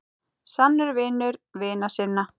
Sannur vinur vina sinna.